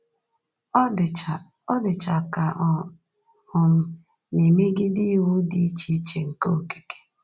Ọ dịcha Ọ dịcha ka ọ um na-emegide iwu dị iche iche nke okike.